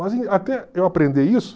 Mas até eu aprender isso...